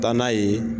Taa n'a ye